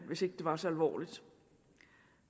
hvis ikke det var så alvorligt